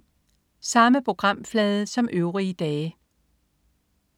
Samme programflade som øvrige dage